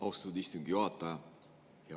Austatud istungi juhataja!